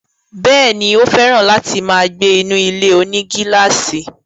Bẹ́ẹ̀ni, ó fẹ̀ràn láti máa gbé inú ilé-onígílàsì